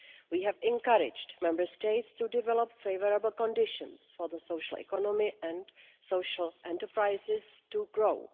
We have encouraged Member States to develop favourable conditions for the social economy and social enterprises to grow.